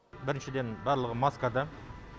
біріншіден барлығы маскада